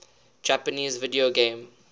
japanese video game